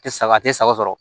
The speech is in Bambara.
A tɛ saga sɔrɔ